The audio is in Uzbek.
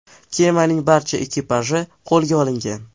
Kemaning barcha ekipaji qo‘lga olingan.